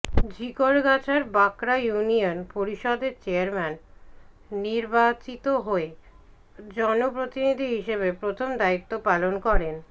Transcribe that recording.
ঝিকরগাছার Bankra union পরিষদের chairman নির্বাচিত হয়ে জনপ্রতিনিধি হিসেবে প্রথম দায়িত্ব পালন করেন